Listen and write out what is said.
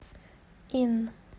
инн